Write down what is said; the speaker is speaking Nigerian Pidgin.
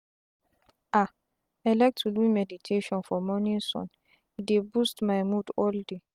ah i like to do meditation for morning sun e dey boost my mood all day.